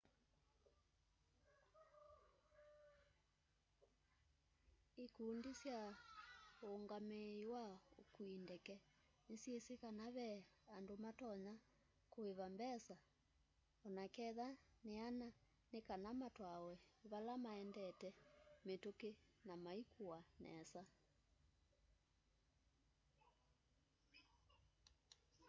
ĩkũndĩ sya ũũngamĩĩ wa ũkũĩ ndeke nĩsyĩsĩ kana ve andũ matonya kũĩva mbesa onaketha nĩana nĩkana matwawe vala maendete mĩtũkĩ na maĩkũwa nesa